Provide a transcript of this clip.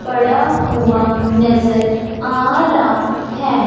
पड़ा हुआ नजर आ रहा है।